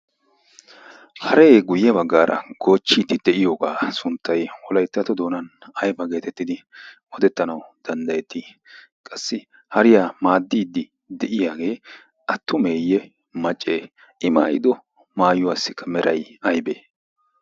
haree guyye baggaara goochchiiddi deiyoogaa sunttay olaittato doonan ayba geetettidi odettanawu danddayettii qassi hariyaa maaddiiddi de'iyaagee attumeeyye maccee i maayido maayuwaassikka meray aybee